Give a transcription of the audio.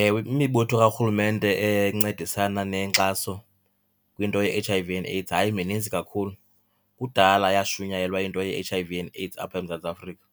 Ewe, imibutho karhulumente encedisana nenkxaso kwinto ye-H_I_V and AIDS hayi mininzi kakhulu, kudala yashunyayelwa into ye-H_I_V and AIDS apha eMzantsi Afrika.